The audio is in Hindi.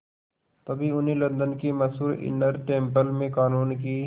तभी उन्हें लंदन के मशहूर इनर टेम्पल में क़ानून की